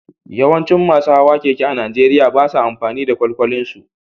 Yawancin masu hawan keke a Najeriya ba sa amfani da kwalkwalinsu